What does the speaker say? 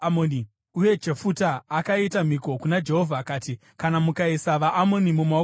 Uye Jefuta akaita mhiko kuna Jehovha akati, “Kana mukaisa vaAmoni mumaoko angu,